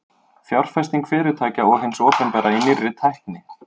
Fjárfesting fyrirtækja og hins opinbera í nýrri tækni.